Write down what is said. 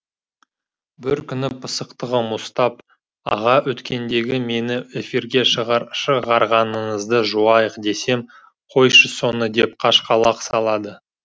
бір күні пысықтығым ұстап аға өткендегі мені эфирге шығар шығарғаныңызды жуайық десем қойшы соны деп қашқалақ салады